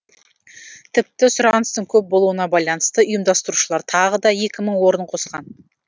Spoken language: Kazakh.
тіпті сұраныстың көп болуына байланысты ұйымдастырушылар тағы да екі мың орын қосқан